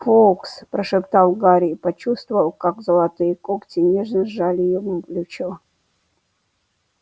фоукс прошептал гарри и почувствовал как золотые когти нежно сжали ему плечо